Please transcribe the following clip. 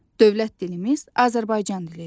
Dövlət dilimiz Azərbaycan dilidir.